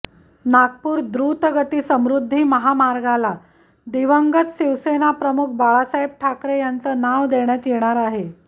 नागपूर द्रुतगती समृद्धी महामार्गाला दिवंगत शिवसेना प्रमुख बाळासाहेब ठाकरे यांचं नाव देण्यात येणार आहे